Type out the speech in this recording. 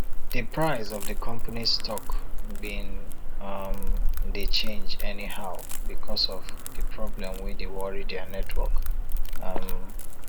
di price of di companys stock bin um dey change anyhow because of di problem wey dey worry dia network um